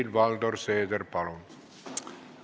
Helir-Valdor Seeder, palun!